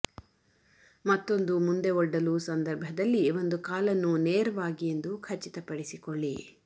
ಮತ್ತೊಂದು ಮುಂದೆ ಒಡ್ಡಲು ಸಂದರ್ಭದಲ್ಲಿ ಒಂದು ಕಾಲನ್ನು ನೇರವಾಗಿ ಎಂದು ಖಚಿತಪಡಿಸಿಕೊಳ್ಳಿ